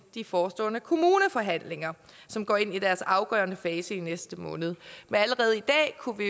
de forestående kommuneforhandlinger som går ind i deres afgørende fase i næste måned men allerede i dag kunne vi